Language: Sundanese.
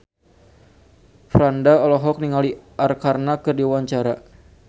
Franda olohok ningali Arkarna keur diwawancara